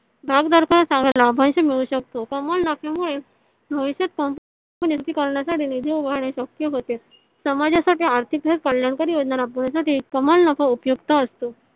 भागधारकांना चांगला लाभांश मिळू शकतो. कमाल नफ्यामुळे भविष्यात उभारणे शक्य होते समाजासाठी आर्थिक कल्याणकारी योजना राबवण्यासाठी कमाल नफा उपयुक्त असतो.